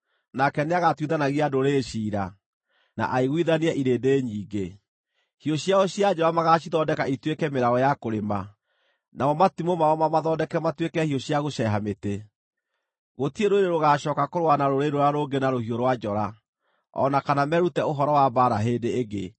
Nake nĩagatuithanagia ndũrĩrĩ ciira, na aiguithanie irĩndĩ nyingĩ. Hiũ ciao cia njora magaacithondeka ituĩke mĩraũ ya kũrĩma, namo matimũ mao mamathondeke matuĩke hiũ cia gũceeha mĩtĩ. Gũtirĩ rũrĩrĩ rũgaacooka kũrũa na rũrĩrĩ rũrĩa rũngĩ na rũhiũ rwa njora, o na kana merute ũhoro wa mbaara hĩndĩ ĩngĩ.